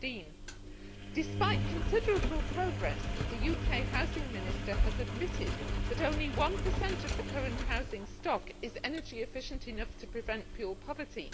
15. Despite considerable progress, the UK Housing Minister has admitted that only 1 of the current housing stock is energy efficient enough to prevent fuel poverty.